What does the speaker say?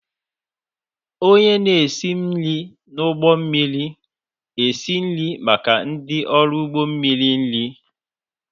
Onye na-esi nri n'ụgbọ mmiri esi nri maka ndị ọrụ ụgbọ mmiri nri.